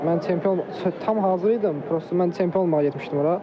Mən çempion tam hazır idim, prosto mən çempion olmağa getmişdim ora.